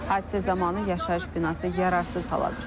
Hadisə zamanı yaşayış binası yararsız hala düşüb.